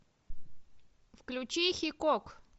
включи хикок